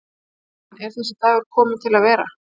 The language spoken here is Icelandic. Jóhann: Er þessi dagur kominn til með að vera?